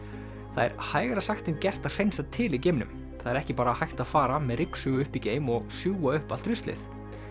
það er hægara sagt en gert að hreinsa til í geimnum það er ekki bara hægt að fara með ryksugu upp í geim og sjúga upp allt ruslið